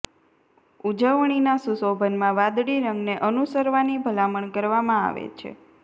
ઉજવણીના સુશોભનમાં વાદળી રંગને અનુસરવાની ભલામણ કરવામાં આવે છે